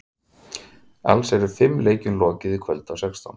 Alls eru fimm leikjum lokið í kvöld af sextán.